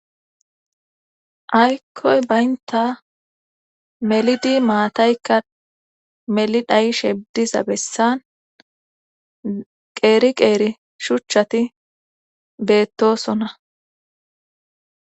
Aykoy bynata melidi matayka meli dhayishe dida bessan qeri qeri shutati betossona.